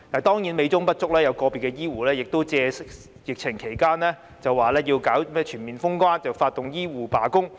當然，美中不足的是有個別醫護人員在疫情期間為了令政府全面封關而發動醫護罷工。